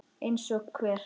Eins og hver?